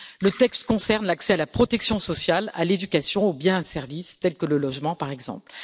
Le texte concerne l'accès à la protection sociale, à l'éducation, aux biens et aux services, tels que le logement, par exemple.